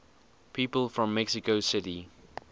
people from mexico city